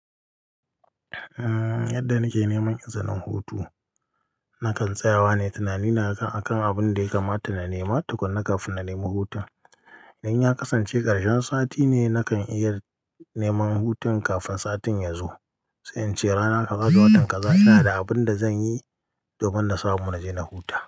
Yadda nake neman izinin hutu, na kan tsayawa ne tunani na akan abun da ya kamata na nema tukuna kafin na nemi hutun. Idan ya kasance karshen sati ne, na kan iya neman hutun kafin satin ya zo. Sai ince rana ka gado watan kaza, ina da abun da zan yi domin na samu na je na huta.